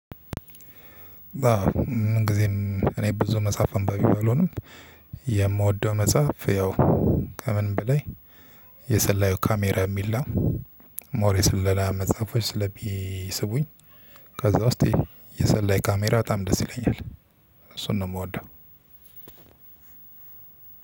አዎ ምን ጊዜም እኔ ብዙ መጽሐፍ አንባቢ ባልሆንም የምወደው መጽሐፍ ያው ከምንም በላይ የሰላዩ ካሜራ የሚል ነው። ሞር የስለላ መጽሐፎች ስለሚስቡኝ። ከዛ ውስጥ የሰላይ ካሜራ በጣም ደስ ይለኛል። እሱን ነው የምወደው።